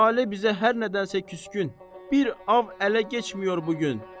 Tale bizə hər nədənsə küskün, bir ov ələ keçməyir bu gün.